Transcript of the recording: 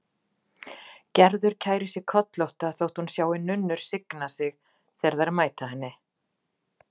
Gerður kærir sig kollótta þótt hún sjái nunnur signa sig þegar þær mæta henni.